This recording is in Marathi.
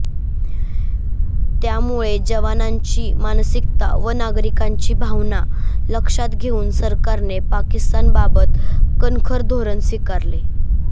त्यामुळे जवानांची मानसिकता व नागरिकांची भावना लक्षात घेऊन सरकारने पाकिस्तानबाबत कणखर धोरण स्वीकारावे